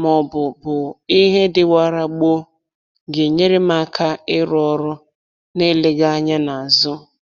maọbụ bụ ihe dịwara gboo ga-enyere m aka ịrụ ọrụ na-eleghị anya n'azụ